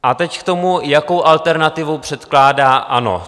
A teď k tomu, jakou alternativu předkládá ANO.